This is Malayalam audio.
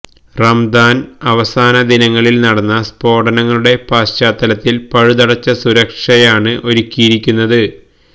റമദാന് അവസാന ദിനങ്ങളില് നടന്ന സ്ഫോടനങ്ങളുടെ പശ്ചാത്തലത്തില് പഴുതടച്ച സുരക്ഷയാണ് ഒരുക്കിയിരുന്നത്